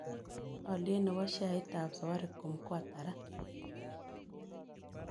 Alyet ne po sheaitap safaricom ko ata raa